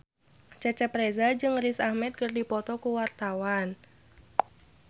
Cecep Reza jeung Riz Ahmed keur dipoto ku wartawan